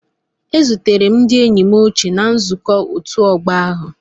A zutere m ndị enyi m ochie na nzukọ ọtu ogbo ahu.